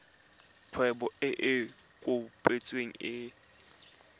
kgwebo e e kopetsweng e